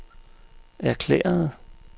erklærede